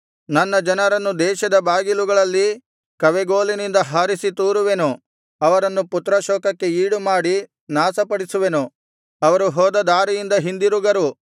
ನನ್ನ ಜನರನ್ನು ದೇಶದ ಬಾಗಿಲುಗಳಲ್ಲಿ ಕವೆಗೋಲಿನಿಂದ ಹಾರಿಸಿ ತೂರುವೆನು ಅವರನ್ನು ಪುತ್ರಶೋಕಕ್ಕೆ ಈಡುಮಾಡಿ ನಾಶಪಡಿಸುವೆನು ಅವರು ಹೋದ ದಾರಿಯಿಂದ ಹಿಂದಿರುಗರು